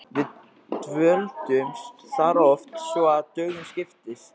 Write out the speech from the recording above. Við dvöldumst þar oft svo að dögum skipti.